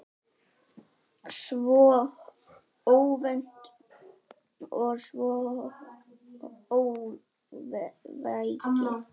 Svo óvænt og svo óvægið.